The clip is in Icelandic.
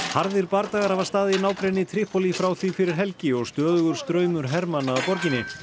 harðir bardagar hafa staðið í nágrenni Trípólí frá því fyrir helgi og stöðugur straumur hermanna að borginni